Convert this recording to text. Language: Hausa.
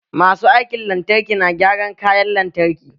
Masu aikin lantarki na gyaran kayan lantarki.